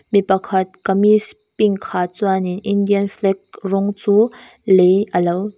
mi pakhat kamis pink ha chuan in indian flag rawng chu lei a lo--